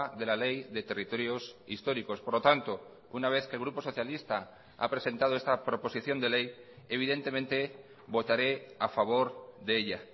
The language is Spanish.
de la ley de territorios históricos por lo tanto una vez que el grupo socialista ha presentado esta proposición de ley evidentemente votaré a favor de ella